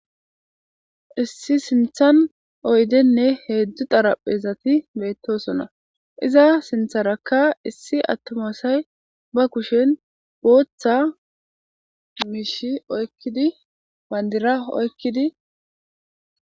issi sinthan oydenne heedzdzu xaraphezati beettosona iza sintharakka issi attomaasay ba kushen booththa miishi oykkidi bandira oykkidi